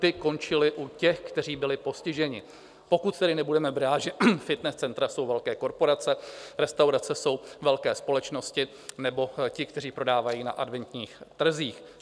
Ty končily u těch, kteří byli postiženi, pokud tedy nebudeme brát, že fitness centra jsou velké korporace, restaurace jsou velké společnosti nebo ti, kteří prodávají na adventních trzích.